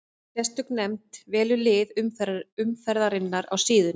Sérstök nefnd velur lið umferðarinnar á síðunni.